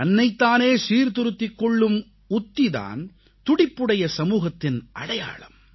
தன்னைத் தானே சீர்திருத்திக் கொள்ளும் உத்தி தான் துடிப்புடைய சமூகத்தின் அடையாளம்